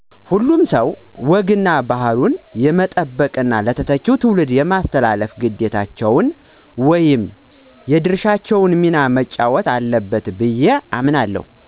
" ሁሉም ሰዉ ወግ እና ባህሉን የመጠበቅ ለተተኪ ትዉልድ የማስተላለፍ ግዴታቸውን ወይም የድርሻውን ሚና መጫወት አለበት ብየ አምናለሁ "።